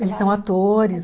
Eles são atores.